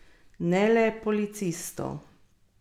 Ne le policistov.